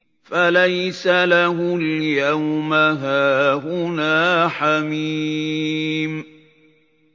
فَلَيْسَ لَهُ الْيَوْمَ هَاهُنَا حَمِيمٌ